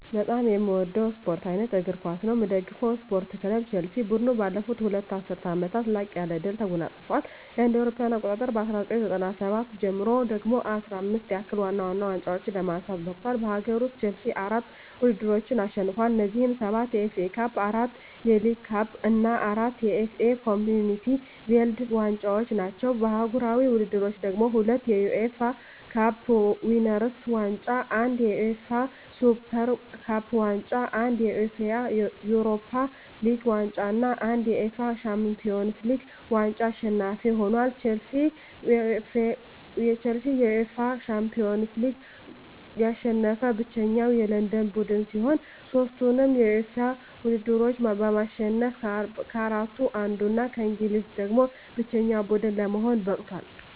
በጣም ምወደው ስፓርት አይነት እግር ኳስ ነው። ምደግፈው ስፓርት ክለብ ቸልሲ። ቡድኑ ባለፉት ሁለት ዐሥርት ዓመታት ላቅ ያለ ድል ተጎናጽፏል። ከእ.ኤ.አ 1997 ጀምሮ ደግሞ 15 ያህል ዋና ዋና ዋንጫዎችን ለማንሳት በቅቷል። በአገር ውስጥ፣ ቼልሲ አራት ውድድሮችን አሸንፏል። እነዚህም፤ ሰባት የኤፍ ኤ ካፕ፣ አራት የሊግ ካፕ እና አራት የኤፍ ኤ ኮምዩኒቲ ሺልድ ዋንጫዎች ናቸው። በአህጉራዊ ውድድሮች ደግሞ፤ ሁለት የዩኤፋ ካፕ ዊነርስ ዋንጫ፣ አንድ የዩኤፋ ሱፐር ካፕ ዋንጫ፣ አንድ የዩኤፋ ዩሮፓ ሊግ ዋንጫ እና አንድ የዩኤፋ ሻምፒዮንስ ሊግ ዋንጫ አሸናፊ ሆኖአል። ቼልሲ የዩኤፋ ሻምፒዮንስ ሊግን ያሸነፈ ብቸኛው የለንደን ቡድን ሲሆን፣ ሦስቱንም የዩኤፋ ውድድሮች በማሸነፍ ከአራቱ አንዱ እና ከእንግሊዝ ደግሞ ብቸኛው ቡድን ለመሆን በቅቷል።